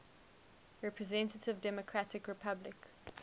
representative democratic republic